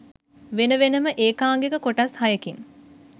වෙන වෙනම ඒකාංගික කොටස් හයකින්